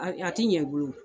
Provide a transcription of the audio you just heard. A a tɛ ɲɛ i bolo.